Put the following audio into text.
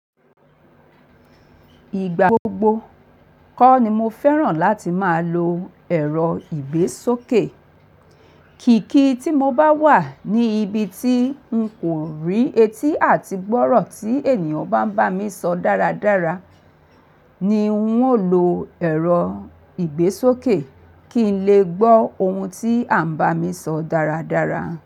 Ìgbà gbogbo kọ́ ni mo fẹ́ràn láti máa lo ẹ̀rọ ìgbésókè. Kìkì tí mo bá wà ní ibi tí n kò rí etí àti gbọ́rọ̀ tí ènìyàn bá ń bá mi sọ dáradára ni n óò lo ẹ̀rọ ìgbésókè kí n lè gbọ́ ohun tí à ń bá mi sọ dáradára.